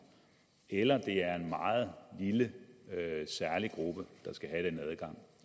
eller at det er en meget lille særlig gruppe der skal have den adgang